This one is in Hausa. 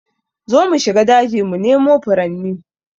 Zo mu shiga daji mu nemo furanni